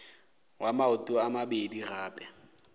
wa maoto a mabedi gape